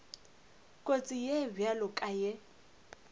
kotsi ye bjalo ka ye